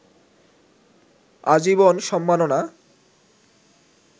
আজীবন সম্মাননা